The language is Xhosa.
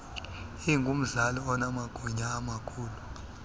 ingumzali onamagunya amakhulu